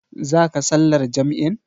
Zaka sallar jam'in.